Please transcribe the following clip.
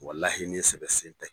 Walahi ni sɛbɛ sen tɛ.